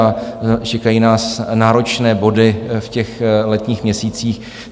A čekají nás náročné body v těch letních měsících.